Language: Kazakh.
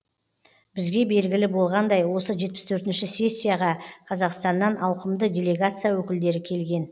бізге белгілі болғандай осы жетпіс төртінші сессияға қазақстаннан ауқымды делегация өкілдері келген